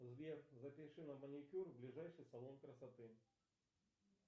сбер запиши на маникюр в ближайший салон красоты